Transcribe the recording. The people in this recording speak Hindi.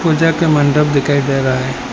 पूजा के मंडप दिखाई दे रहा है।